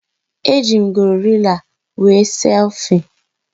Eji m gorila were selfie